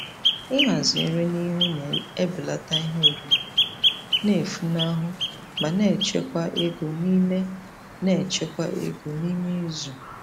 Ịhazi nri n'ihu na-ebelata ihe oriri na-efunahụ ma na-echekwa ego n'ime na-echekwa ego n'ime izu.